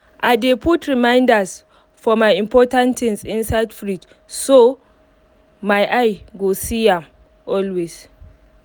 i dey put reminders for my important things inside fridge so my eye go dey see am always